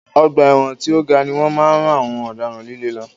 Ọgbà ẹ̀wọ̀n tí o ga ni wọ́n máa ń rán àwọn ọ̀daràn líle lọ.